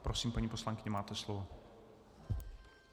Prosím, paní poslankyně, máte slovo.